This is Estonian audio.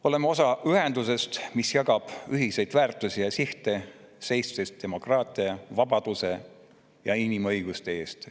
Oleme osa ühendusest, mis jagab ühiseid väärtusi ja sihte, seistes demokraatia, vabaduse ja inimõiguste eest.